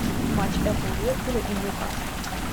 матч апл ливерпуля и ньюкасла